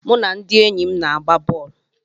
Mụ na ndị enyi m na-agba bọl.